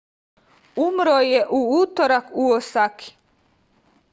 umro je u utorak u osaki